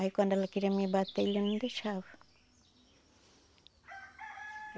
Aí quando ela queria me bater, ele não deixava.